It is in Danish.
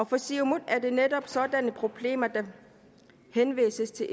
for siumut er det netop sådanne problemer der henvises til